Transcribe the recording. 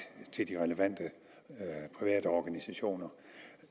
til relevante private organisationer